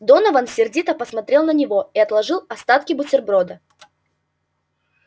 донован сердито посмотрел на него и отложил остатки бутерброда